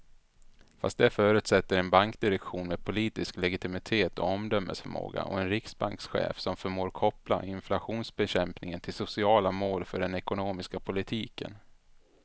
Fast det förutsätter en bankdirektion med politisk legitimitet och omdömesförmåga och en riksbankschef som förmår koppla inflationsbekämpning till sociala mål för den ekonomiska politiken.